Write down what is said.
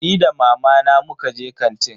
Ni da mamana muka je kantin.